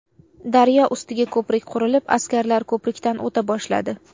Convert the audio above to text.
Daryo ustiga ko‘prik qurilib askarlar ko‘prikdan o‘ta boshladi.